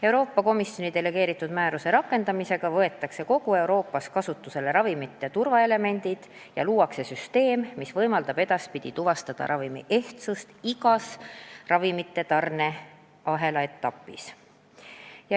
Euroopa Komisjoni delegeeritud määruse rakendamisega võetakse kogu Euroopas kasutusele ravimite turvaelemendid ja luuakse süsteem, mis võimaldab edaspidi tuvastada ravimi ehtsust igas ravimite tarneahela etapis.